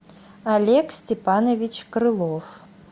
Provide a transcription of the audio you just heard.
олег степанович крылов